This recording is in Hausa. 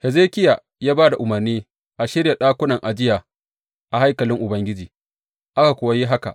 Hezekiya ya ba da umarni a shirya ɗakunan ajiya a haikalin Ubangiji, aka kuwa yi haka.